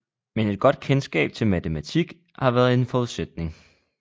Men et godt kendskab til matematik har været en forudsætning